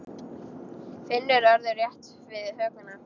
Finnur örðu rétt við hökuna.